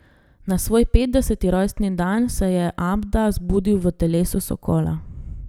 Na svoj petdeseti rojstni dan se je Abda zbudil v telesu sokola.